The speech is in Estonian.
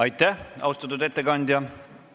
Aitäh, austatud ettekandja!